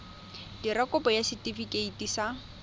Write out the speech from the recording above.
dira kopo ya setefikeiti sa